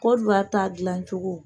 Kɔriwari t'a dilacogo.